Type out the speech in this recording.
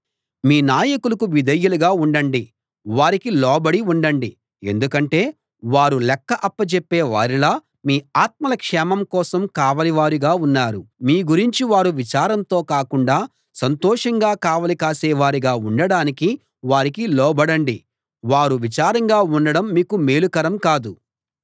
మీ నాయకులకు విధేయులుగా ఉండండి వారికి లోబడి ఉండండి ఎందుకంటే వారు లెక్క అప్పజెప్పే వారిలా మీ ఆత్మల క్షేమం కోసం కావలివారుగా ఉన్నారు మీ గురించి వారు విచారంతో కాకుండా సంతోషంగా కావలి కాసేవారుగా ఉండడానికి వారికి లోబడండి వారు విచారంగా ఉండడం మీకు మేలుకరం కాదు